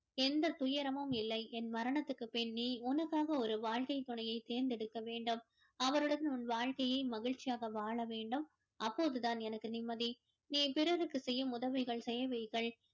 எந்தத் துயரமும் இல்லை என் மரணத்துக்கு பின் நீ உனக்காக ஒரு வாழ்க்கைத் துணையை தேர்ந்தெடுக்க வேண்டும் அவருடன் உன் வாழ்க்கையை மகிழ்ச்சியாக வாழ வேண்டும் அப்போது தான் எனக்கு நிம்மதி நீ பிறருக்கு செய்யும் உதவிகள் சேவைகள்